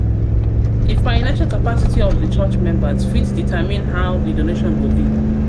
financial capacity of di church members fit determine how di donations go go be